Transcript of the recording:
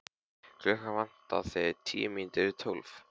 Klukkuna vantaði tíu mínútur í tólf.